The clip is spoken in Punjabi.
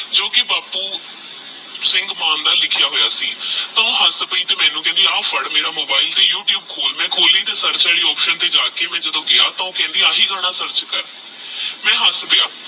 ਜੋ ਕੀ ਬਾਪੁ ਸਿੰਘ ਮਾਨ ਦਾ ਲਿਖਯਾ ਹੋਯਾ ਆਹ ਹੱਸ ਪਾਈ ਤੇਹ ਮੈਨੂ ਕਹੰਦਾ ਆਹ ਫੜ ਮੇਰਾ ਮੋਬਾਈਲ ਤੇਹ ਯੂ ਟਯੂਬ ਖੋਲ ਮੈ ਖੋਲੀ SEARCH ਵਾਲੀ OPTION ਤੇਹ ਜਾਕੇ ਮੈ ਗਯਾ ਤੇਹ ਕਹੰਦਾ ਆਹ ਗਾਨਾ SEARCH ਕਰ ਮੈ ਹੱਸ ਪਾਯਾ